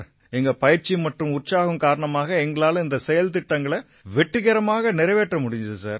எங்க பயிற்சி மற்றும் உற்சாகம் காரணமா எங்களால இந்த செயல்திட்டங்களை வெற்றிகரமா நிறைவேற்ற முடிஞ்சிச்சு சார்